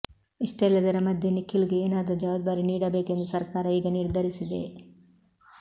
ಇಷ್ಟೆಲ್ಲದರ ಮಧ್ಯೆ ನಿಖಿಲ್ ಗೆ ಏನಾದ್ರು ಜವಾಬ್ದಾರಿ ನೀಡಬೇಕು ಎಂದು ಸರ್ಕಾರ ಈಗ ನಿರ್ಧರಿಸಿದೆ